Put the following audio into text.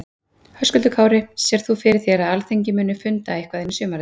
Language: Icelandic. Höskuldur Kári: Sérð þú fyrir þér að Alþingi muni funda eitthvað inn í sumarið?